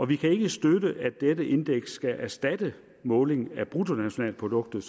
vi kan ikke støtte at dette indeks skal erstatte måling af bruttonationalproduktet